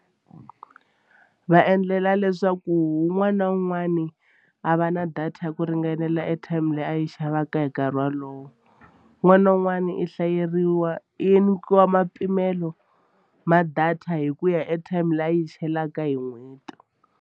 Va endlela leswaku un'wana na un'wana a va na data ya ku ringanela airtime leyi a yi xavaka hi nkarhi wolowo un'wana na un'wana i hlayeriwa i nyikiwa mpimelo ma-data hi ku ya airtime leyi a yi chelaka hi n'hweti.